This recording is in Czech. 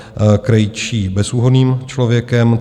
Krejčí bezúhonným člověkem.